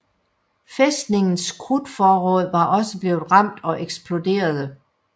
Fæstningens krudtforråd var også blevet ramt og eksploderede